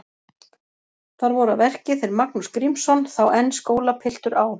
Þar voru að verki þeir Magnús Grímsson, þá enn skólapiltur á